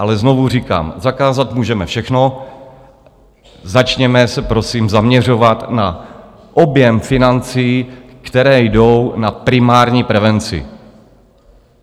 Ale znovu říkám, zakázat můžeme všechno, začněme se prosím zaměřovat na objem financí, které jdou na primární prevenci.